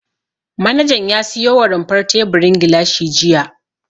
Manajan ya siyo wa rumfar teburin gilashi jiya.